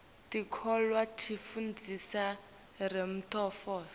tikolwa tifundzisa temnotfo